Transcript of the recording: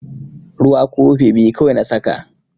Ruwa kofi biyu kawai na saka.